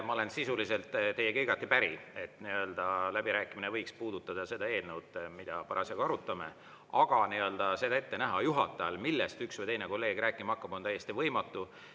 Ma olen sisuliselt teiega igati päri, et läbirääkimine võiks puudutada seda eelnõu, mida parasjagu arutame, aga seda ette näha juhatajal, millest üks või teine kolleeg rääkima hakkab, on täiesti võimatu.